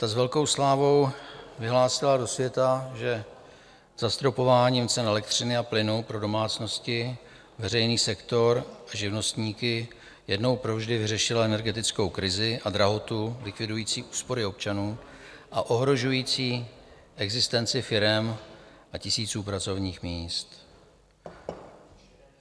Ta s velkou slávou vyhlásila do světa, že zastropováním cen elektřiny a plynu pro domácnosti, veřejný sektor a živnostníky jednou provždy vyřešila energetickou krizi a drahotu likvidující úspory občanů a ohrožující existenci firem a tisíců pracovních míst.